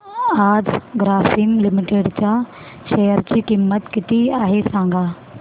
आज ग्रासीम लिमिटेड च्या शेअर ची किंमत किती आहे सांगा